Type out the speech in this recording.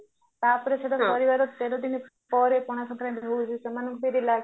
ତାପରେ ସେଟା କରିବାର ତେର ଦିନ ପରେ ପଣା ଶଙ୍କାରାନ୍ତି ପଡୁଚି ସେମାନଙ୍କୁ ବି relax